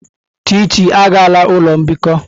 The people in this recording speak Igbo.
Chichi agala ulo mbikọ!